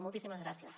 moltíssimes gràcies